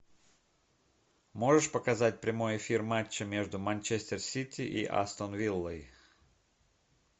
можешь показать прямой эфир матча между манчестер сити и астон виллой